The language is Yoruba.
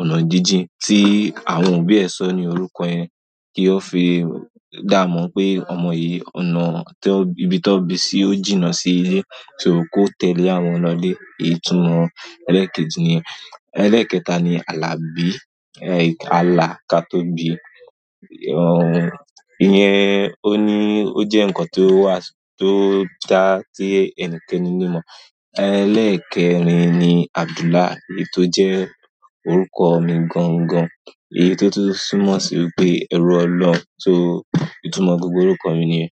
ọ̀nà jíjìn, tí àwọn òbí ẹ̀ sọ ní orúkọ ẹni kí ó fi dá mọ̀ pé ọmọ yìí, ọ̀nà tó, ibi tó bi sí ó jìnnà sí ilé, só kó tẹ̀lé àwọn lọ́ ile, itúmọ̀ ẹlẹ́ẹ̀kejì ni yen. Ẹlẹ́ẹ̀kẹta ni Alabi, eh, ala ka tó bí. Ooh, ìyẹn, ó ní ó jẹ́ nǹkan tó wà, tó dá tí ẹnikẹ́ni ní mọ̀. Ẹlẹ́ẹ̀kẹrin ni Abdullah, èyí tó jẹ́ orúkọ mi gangan, èyí tó tún túmọ̀ sí pé ẹrú Ọlọ́run so, ìtumọ̀ gbogbo orúkọ mi ni yen.